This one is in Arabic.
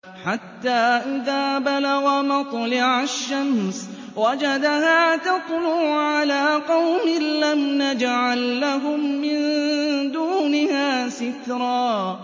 حَتَّىٰ إِذَا بَلَغَ مَطْلِعَ الشَّمْسِ وَجَدَهَا تَطْلُعُ عَلَىٰ قَوْمٍ لَّمْ نَجْعَل لَّهُم مِّن دُونِهَا سِتْرًا